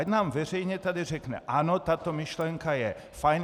Ať nám veřejně tady řekne "ano, tato myšlenka je fajn".